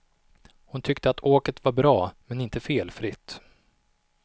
Hon tyckte att åket var bra men inte felfritt.